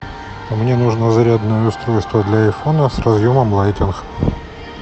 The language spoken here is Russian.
мне нужно зарядное устройство для айфона с разъемом лайтинг